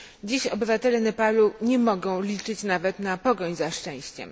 Dziś obywatele Nepalu nie mogą liczyć nawet na pogoń za szczęściem.